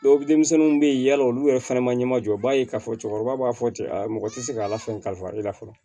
denmisɛnninw bɛ yen yala olu yɛrɛ fana ma ɲɛma jɔ o b'a ye k'a fɔ cɛkɔrɔba b'a fɔ cɛ mɔgɔ tɛ se ka lafaali fa i la fɔlɔ